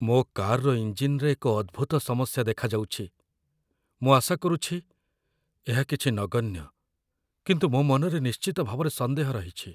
ମୋ କାର୍‌ର ଇଞ୍ଜିନ୍‌ରେ ଏହି ଅଦ୍ଭୁତ ସମସ୍ୟା ଦେଖାଯାଉଛି। ମୁଁ ଆଶା କରୁଛି ଏହା କିଛି ନଗଣ୍ୟ, କିନ୍ତୁ ମୋ ମନରେ ନିଶ୍ଚିତ ଭାବରେ ସନ୍ଦେହ ରହିଛି।